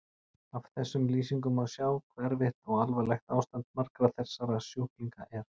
Af þessum lýsingum má sjá hve erfitt og alvarlegt ástand margra þessara sjúklinga er.